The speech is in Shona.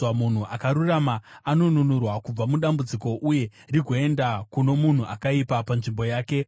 Munhu akarurama anonunurwa kubva mudambudziko, uye rigoenda kuno munhu akaipa panzvimbo yake.